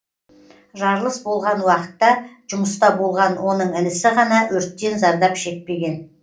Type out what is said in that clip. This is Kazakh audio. жарылыс болған уақытта жұмыста болған оның інісі ғана өрттен зардап шекпеген